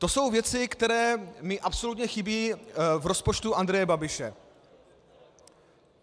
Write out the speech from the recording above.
To jsou věci, které mi absolutně chybí v rozpočtu Andreje Babiše.